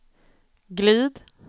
glid